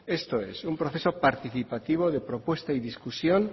esto es un proceso participativo de propuesta y discusión